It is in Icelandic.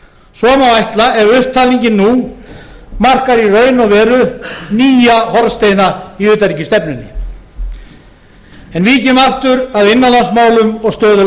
svo má ætla ef upptalningin nú markar í raun og veru nýja hornsteina í utanríkisstefnunni en víkjum aftur að innanlandsmálum og stöðu